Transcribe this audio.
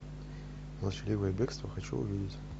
молчаливое бегство хочу увидеть